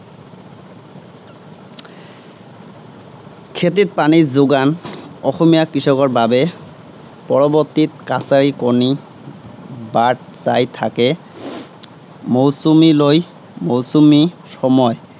খেতিত পানী যােগান অসমীয়া কৃষকৰ বাবে পৰবৰ্তিত কাছই কণী বাট চাই থাকে মৌচুমীলৈ। মৌচুমী সময়